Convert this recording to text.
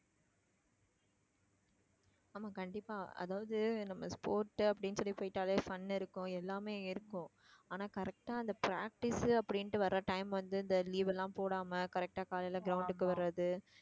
ஆமா கண்டிப்பா அதாவது நம்ம sports அப்படின்னு சொல்லி போயிட்டாலே fun இருக்கும் எல்லாமே இருக்கும் ஆனா correct ஆ அந்த practice அப்படின்னுட்டு வர time வந்து இந்த leave எல்லாம் போடாம correct ஆ காலையிலே ground க்கு வர்றது